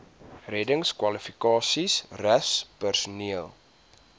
reddingskwalifikasies rus personeel